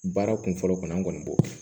Baara kun fɔlɔ kɔnɔ an kɔni b'o